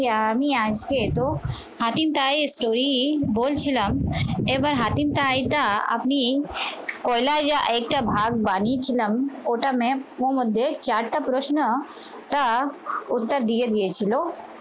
আমি আজকে তো হাকিম তৈরি বলছিলাম এবার হাকিম শাড়ি টা আপনি কয়লা ইয়া একটা ভাগ বানিয়ে ছিলাম ওটা map ওর মধ্যে চারটা প্রশ্ন ওটা দিয়ে দিয়েছিল